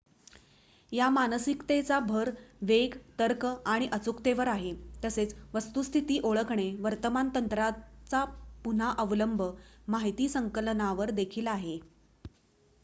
या मानसिकतेचा भर वेग तर्क आणि अचूकतेवर आहे तसेच वस्तुस्थिती ओळखणे वर्तमान तंत्रांचा पुन्हा अवलंब माहिती संकलनावर देखील आहे